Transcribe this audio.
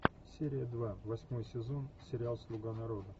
серия два восьмой сезон сериал слуга народа